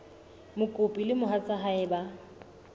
mokopi le mohatsa hae ba